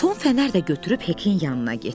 Tom fənər də götürüb Hekin yanına getdi.